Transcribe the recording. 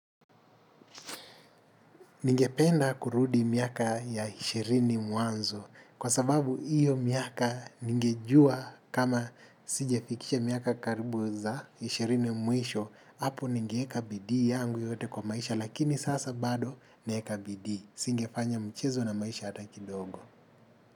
Ningependa kurudi miaka ya ishirini mwanzo kwa sababu iyo miaka ningejua kama sijafikisha miaka karibu za ishirini mwisho apo ningeweka bidii yangu yote kwa maisha lakini sasa bado naeka bidii singefanya mchezo na maisha hata kidogo.